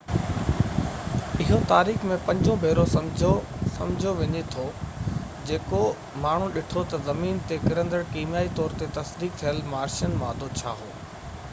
اهو تاريخ ۾ پنجون ڀيرو سمجهو وڃي ٿو جيڪو ماڻهن ڏٺو ته زمين تي ڪرندڙ ڪيميائي طور تي تصديق ٿيل مارشين مادو ڇا هو